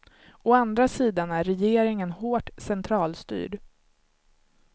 Å andra sidan är regeringen hårt centralstyrd.